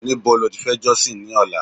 níbo ni o ti fe josin ni ọlá